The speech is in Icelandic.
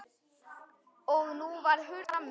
Og nú var hurð skellt aftur frammi.